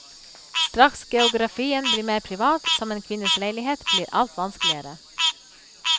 Straks geografien blir mer privat, som en kvinnes leilighet, blir alt vanskeligere.